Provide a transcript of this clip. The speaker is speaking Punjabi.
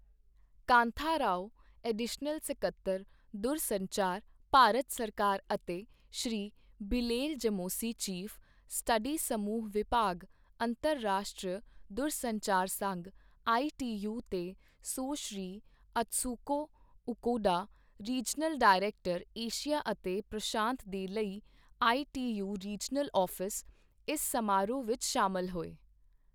ਕਾਂਥਾ ਰਾਓ, ਐਡੀਸ਼ਨਲ ਸਕੱਤਰ ਦੂਰਸੰਚਾਰ, ਭਾਰਤ ਸਰਕਾਰ ਅਤੇ Shri Bilel Jamoussi, chief, study ਸਮੂਹ ਵਿਭਾਗ, ਅੰਤਰਰਾਸ਼ਟਰੀ ਦੂਰਸੰਚਾਰ ਸੰਘ ਆਈਟੀਯੂ ਤੇ Sushri Atsuko Okuda, regional director, Asia ਅਤੇ ਪ੍ਰਸ਼ਾਂਤ ਦੇ ਲਈ ਆਈਟੀਯੂ ਰੀਜਨਲ ਆਫਿਸ, ਇਸ ਸਮਾਰੋਹ ਵਿੱਚ ਸ਼ਾਮਲ ਹੋਏ।